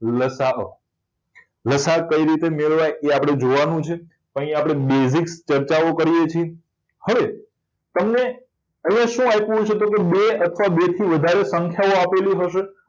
લસાઅ કેવી રીતે મેળવાય એ આપણને જોવાનું છે અહીં આપણે basic ચર્ચાઓ કરીએ છીએ હવે તમને હવે શું આપ્યું હશે બે અથવા બેથી વધારે સંખ્યાઓ આપેલી હશે